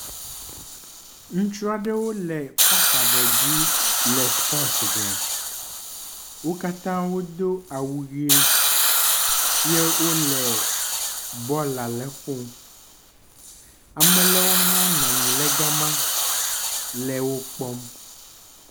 Ŋutsu aɖewo le parki aɖe dzi le supɔsi wɔm. wo katã wodo awu ʋi ye wo le bɔl aɖe ƒom. Ame aɖewo hã wonɔ anyi ɖe gama le wo kpɔm.